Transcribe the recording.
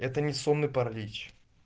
это не сонный паралич